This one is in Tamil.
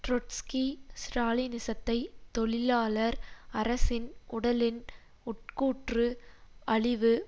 ட்ரொட்ஸ்கி ஸ்ராலினிசத்தை தொழிலாளர் அரசின் உடலின் உட்கூற்று அழிவு